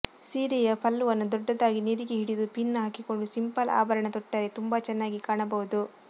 ಸೀರೆಯ ಪಲ್ಲುವನ್ನು ದೊಡ್ಡದಾಗಿ ನೆರಿಗೆ ಹಿಡಿದು ಪಿನ್ ಹಾಕಿಕೊಂಡು ಸಿಂಪಲ್ ಆಭರಣ ತೊಟ್ಟರೆ ತುಂಬಾ ಚೆನ್ನಾಗಿ ಕಾಣಬಹುದು